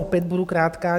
Opět budu krátká.